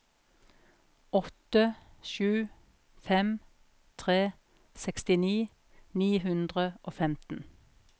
åtte sju fem tre sekstini ni hundre og femten